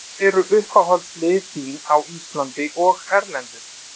Hvað eru uppáhaldslið þín á Íslandi og erlendis?